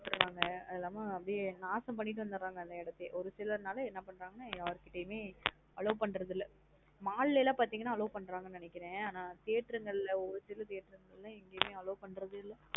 கெடுதிராங்கா அது இல்லம்மா நாசம் பண்ணிட்டு வந்தராங்க அந்த இடத்த ஒரு சிலர் நல என்ன பண்றாங்க யார்கிடயுமே allow பண்றாது இல்லா? Mall லாம் பாத்தீங்க நா allow பண்றாங்கனு நெனைக்கிறன் அனா ஒரு சில theatre கள ஒரு சில theatre ல எங்கயுமே allow பண்றாது இல்ல.